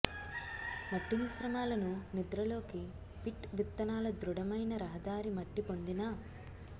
మట్టి మిశ్రమాలను నిద్రలోకి పిట్ విత్తనాల దృఢమైన రహదారి మట్టి పొందిన